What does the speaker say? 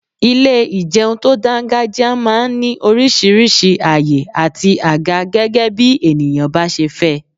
Ilé ìjẹun tó dangajia máa ń ní oríṣiríṣi àyè àti àga gẹ́gẹ́bí ènìyàn bá ṣe fẹ́.